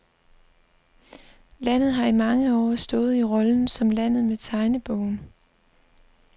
Landet har i mange år stået i rollen som landet med tegnebogen.